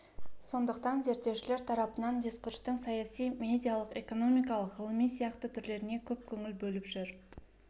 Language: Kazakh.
сондықтан зерттеушілер тарапынан дискурстың саяси медиалық экономикалық ғылыми сияқты түрлеріне көп көңіл бөліп жүр